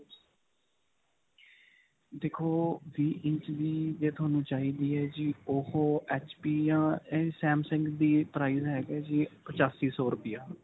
ਦੇਖੋ ਵੀਹ ਇੰਚ ਦੀ ਜੇ ਤੁਹਾਨੂੰ ਚਾਈਦੀ ਹੈ ਜੀ ਉਹੋ HP ਜਾਂ samsung ਦੀ price ਹੈਗੀ ਜੀ ਪਚਾਸੀ ਸੋ ਰੁਪਿਆ.